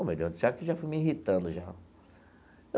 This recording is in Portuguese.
Ô, meu Deus do céu, que já fui me irritando, já?